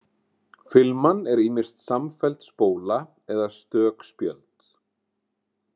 Filman er ýmist samfelld spóla eða stök spjöld.